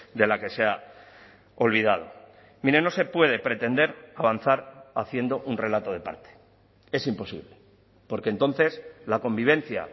de la que se ha olvidado mire no se puede pretender avanzar haciendo un relato de parte es imposible porque entonces la convivencia